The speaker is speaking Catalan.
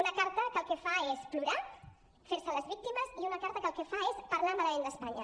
una carta que el que fa és plorar fer se les víctimes i una carta que el que fa és parlar malament d’espanya